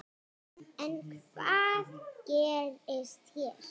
En hvað gerist hér?